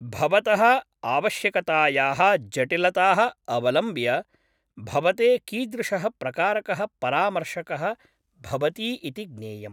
भवतः आवश्यकतायाः जटिलताः अवलम्ब्य भवते कीदृशः प्रकारकः परामर्शकः भवती इति ज्ञेयम्।